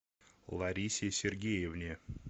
ларисе сергеевне